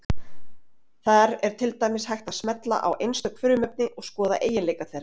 Þar er til dæmis hægt að smella á einstök frumefni og skoða eiginleika þeirra.